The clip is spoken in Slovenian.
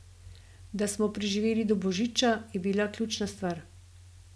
Da smo preživeli do božica, je bila ključna stvar.